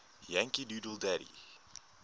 yankee doodle dandy